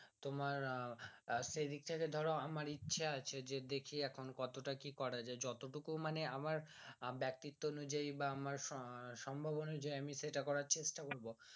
তোমার সেই দিক থেকে ধরো আমার ইচ্ছে আছে যে দেখি এখন কতটা কি করা যে যতটুকু মানে আমার ব্যক্তিত্ব অনুযায়ী বা আমার সম্ভাবনা যে আমি সেটা করার চেষ্টা করব